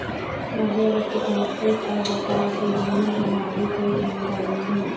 سعودی Arab کے تحفظ اور دفاع کے لیے ہماری کوئی ذمہ داری نہیں